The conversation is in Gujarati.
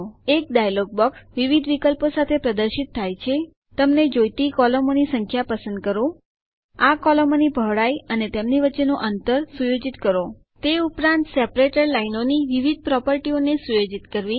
એક ડાયલોગ બોક્સ વિવિધ વિકલ્પો સાથે પ્રદર્શિત થાય છે તમને જોઈતી કોલમોની સંખ્યા પસંદ કરવી આ કોલમોની પહોળાઈ અને તેમની વચ્ચેનું અંતર સુયોજિત કરવું તે ઉપરાંત સેપરેટર વિભાજક લાઈનોની વિવિધ પ્રોપર્ટીઓ ને સુયોજિત કરવી